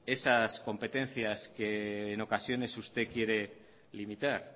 esas competencias que en ocasiones usted quiere limitar